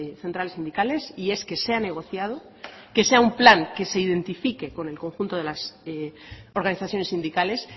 centrales sindicales y es que sea negociado que sea un plan que se identifique con el conjunto de las organizaciones sindicales